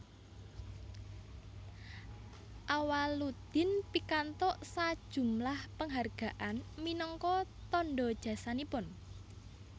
Awaloedin pikantuk sajumlah penghargaan minangka tanda jasanipun